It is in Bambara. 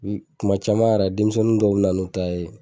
Kuma caman yɛrɛ denmisɛnnin dɔw bɛ na n'u ta ye.